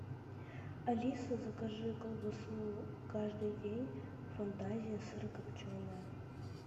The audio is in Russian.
алиса закажи колбасу каждый день фантазия сырокопченая